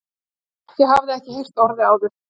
Ég hafði ekki heyrt orðið áður.